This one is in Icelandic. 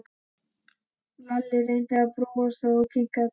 Lalli reyndi að brosa og kinkaði kolli.